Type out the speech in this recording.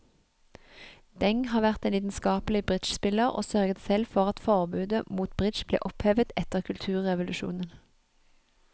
Deng har vært en lidenskapelig bridgespiller og sørget selv for at forbudet mot bridge ble opphevet etter kulturrevolusjonen.